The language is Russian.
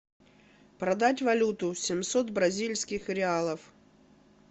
продать валюту семьсот бразильских реалов